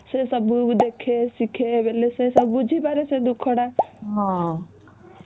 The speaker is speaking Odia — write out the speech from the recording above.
ସେ ଟା ବୋଉ କୁ ଦେଖେ ଶିଖେ ସେ ବୁଝି ପରେ ତା ଦୁଃଖ ଟା ହୁଁ